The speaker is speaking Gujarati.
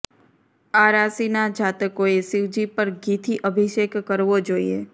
આ રાશિના જાતકોએ શિવજી પર ઘીથી અભિષેક કરવો જોઈએ